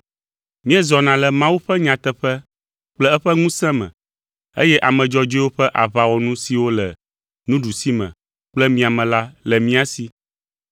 Míezɔna le Mawu ƒe nyateƒe kple eƒe ŋusẽ me, eye ame dzɔdzɔewo ƒe aʋawɔnu siwo le nuɖusime kple miame la le mía si.